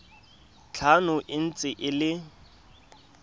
tlhano e ntse e le